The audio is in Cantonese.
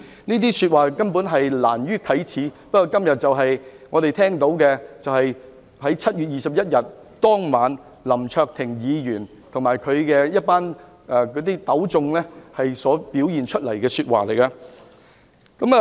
這些說話根本難於啟齒，不過今天我們聽到的，就是7月21日當晚，林卓廷議員和他糾集的群眾所說的話。